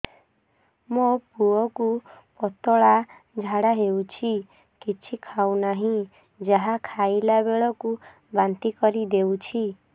ମୋ ପୁଅ କୁ ପତଳା ଝାଡ଼ା ହେଉଛି କିଛି ଖାଉ ନାହିଁ ଯାହା ଖାଇଲାବେଳକୁ ବାନ୍ତି କରି ଦେଉଛି